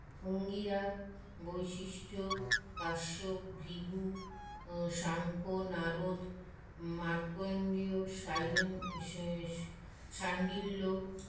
অঙ্গীরা বৈশিষ্ট্য কাশ্যপ ভৃগু ম সাংখ্য নারদ মার্কেন্ডীয় শাইলেন শআ শান্ডীল্য